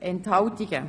Enthalten